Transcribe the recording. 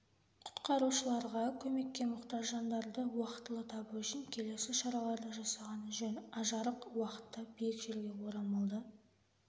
құтқарушыларға көмекке мұқтаж жандарды уақтылы табу үшін келесі шараларды жасаған жөн ажарық уақытта биік жерге орамалды